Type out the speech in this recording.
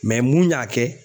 mun y'a kɛ